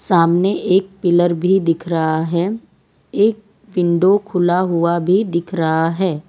सामने एक पिलर भी दिख रहा है एक विंडो खुला हुआ भी दिख रहा है।